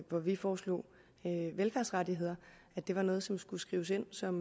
hvor vi foreslog velfærdsrettighederne at det var noget som skulle skrives ind som